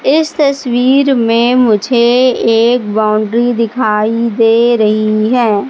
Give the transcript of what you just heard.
इस तस्वीर में मुझे एक बाउंड्री दिखाई दे रही हैं।